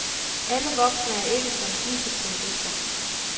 Alle voksne er ikke som disse terrorister.